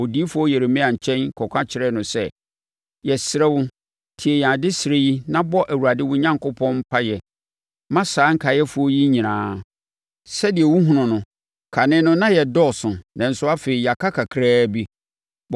odiyifoɔ Yeremia nkyɛn kɔka kyerɛɛ no sɛ, “Yɛsrɛ wo, tie yɛn adesrɛ yi na bɔ Awurade wo Onyankopɔn mpaeɛ ma saa nkaeɛfoɔ yi nyinaa. Sɛdeɛ wohunu no, kane no na yɛdɔɔso nanso afei yɛaka kakraa bi.